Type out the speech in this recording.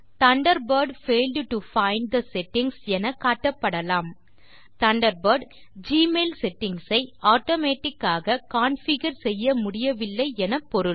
Thunderbird failed to find the settings என காட்டப்படலாம் Thunderbird Gmail settings ஐ ஆட்டோமேட்டிக் ஆக கான்ஃபிகர் செய்ய முடியவில்லை என பொருள்